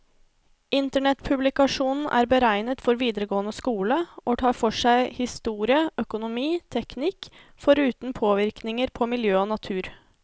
Internettpublikasjonen er beregnet for videregående skole, og tar for seg historie, økonomi, teknikk, foruten påvirkninger på miljø og natur.